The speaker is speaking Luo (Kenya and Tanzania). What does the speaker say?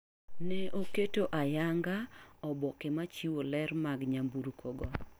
Ne oketo ayang'a oboke ma chiwo ler mag nyamburko go.